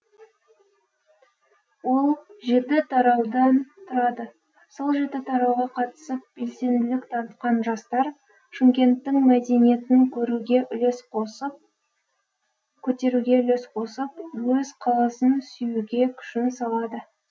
ол жеті тараудан тұрады сол жеті тарауға қатысып белсенділік танытқан жастар шымкенттің мәдинетін көтеруге үлес қосып өз қаласын сүюге күшін салады